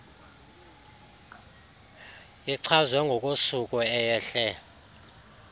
ichazwe ngokosuku eyehle